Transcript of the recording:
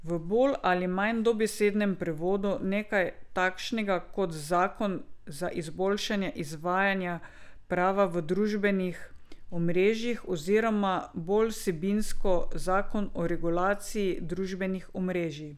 V bolj ali manj dobesednem prevodu nekaj takšnega kot zakon za izboljšanje izvajanja prava v družbenih omrežjih oziroma bolj vsebinsko zakon o regulaciji družbenih omrežij.